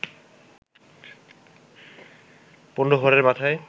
১৫ ওভারের মাথায়